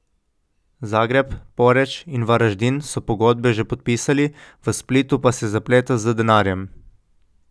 Zagreb, Poreč in Varaždin so pogodbe že podpisali, v Splitu pa se zapleta z denarjem.